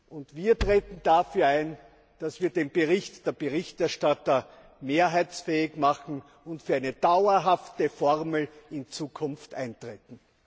Und wir treten dafür ein, dass wir den Bericht der Berichterstatter mehrheitsfähig machen und für eine dauerhafte Formel in Zukunft eintreten.